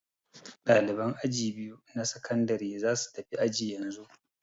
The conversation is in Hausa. Ɗaliban aji biyu na sakandare za su tafi aji yanzu